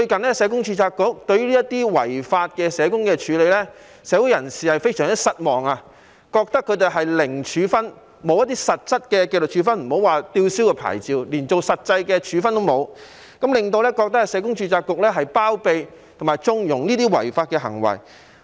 可是，註冊局最近對這些違法社工的處理，令社會人士非常失望，覺得他們面對的是"零處分"，並沒有實質的紀律處分，莫說是被吊銷牌照，就連實際的處分也沒有，令人覺得註冊局包庇及縱容這些違法行為。